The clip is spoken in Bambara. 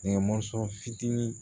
Nɛgɛ mɔnsɔn fitinin